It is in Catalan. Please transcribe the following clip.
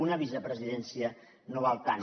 una vicepresidència no val tant